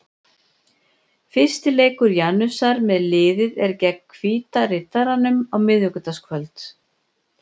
Fyrsti leikur Janusar með liðið er gegn Hvíta Riddaranum á miðvikudagskvöld.